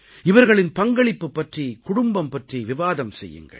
இவர்களின் பங்களிப்புப் பற்றி குடும்பம் பற்றி விவாதம் செய்யுங்கள்